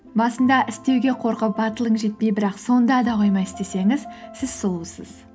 басында істеуге қорқып батылың жетпей бірақ сонда да қоймай істесеңіз сіз сұлусыз